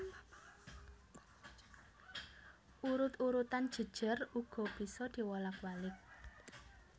Urut urutan jejer uga bisa diwolak walik